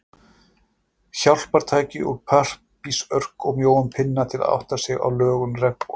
Hjálpartæki úr pappírsörk og mjóum pinna, til að átta sig á lögun regnboga.